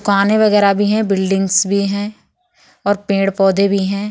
पानी वगैरा भी है| बिल्डिंगस भी है और पेड़-पौधे भी है।